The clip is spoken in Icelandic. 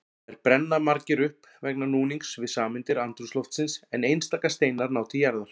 Þar brenna margir upp vegna núnings við sameindir andrúmsloftsins en einstaka steinar ná til jarðar.